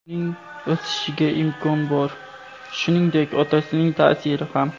Uning o‘sishiga imkon bor, shuningdek, otasining ta’siri ham.